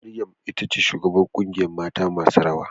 Maryam itace shugabar kungiyar mata masu rawa.